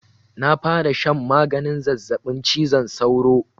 Na fara shan maganin zazzabin cizon sauro.